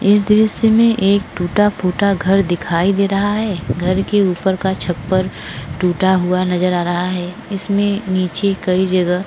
इस दृश्य में एक टूटफूटा घर दिखयी दे रहा है घर के ऊपर का छप्पर टुटा हुआ नज़र आ रहा है इसमें नीचे कई जगह --